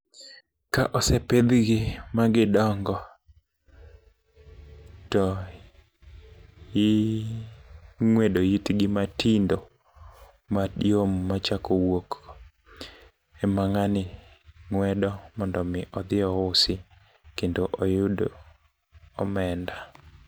Ka osepidhgi ma gidongo, to ing'wedo itgi matindo mayom machako wuok, ema ng'ani ng'wedo mondo omi odho iusi kendo oyud omenda.